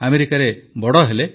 ଆମେରିକାରେ ବଡ଼ ହେଲେ